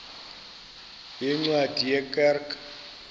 yeencwadi ye kerk